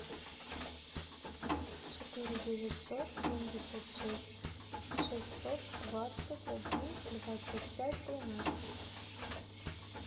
четыре девятьсот семьдесят шесть шестьсот двадцать один двадцать пять тринадцать